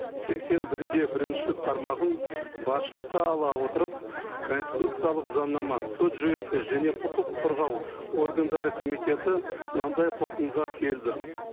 сексен бір де бірінші тармағын басшылыққа ала отырып конституциялық заңнама сот жүйесі және құқық қорғау органдары комитеті мынандай қорытындыға келді